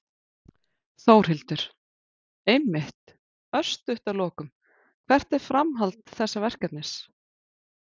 Þórhildur: Einmitt, örstutt að lokum, hvert er framhald þessa verkefnis?